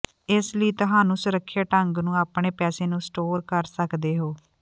ਇਸ ਨਾਲ ਤੁਹਾਨੂੰ ਸੁਰੱਖਿਅਤ ਢੰਗ ਨੂੰ ਆਪਣੇ ਪੈਸੇ ਨੂੰ ਸਟੋਰ ਕਰ ਸਕਦੇ ਹੋ